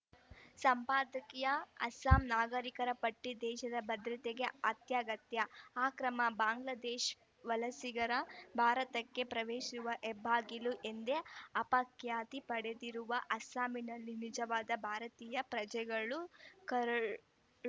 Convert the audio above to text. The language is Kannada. ಸಂಪಾದಕೀಯ ಅಸ್ಸಾಂ ನಾಗರಿಕರ ಪಟ್ಟಿ ದೇಶದ ಭದ್ರತೆಗೆ ಅತ್ಯಗತ್ಯ ಅಕ್ರಮ ಬಾಂಗ್ಲಾದೇಶ್ ವಲಸಿಗರು ಭಾರತಕ್ಕೆ ಪ್ರವೇಶಿಸುವ ಹೆಬ್ಬಾಗಿಲು ಎಂದೇ ಅಪಖ್ಯಾತಿ ಪಡೆದಿರುವ ಅಸ್ಸಾಂನಲ್ಲಿ ನಿಜವಾದ ಭಾರತೀಯ ಪ್ರಜೆಗಳ ಕರಡು